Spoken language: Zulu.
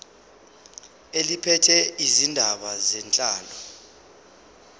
eliphethe izindaba zenhlalo